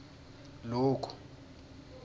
loku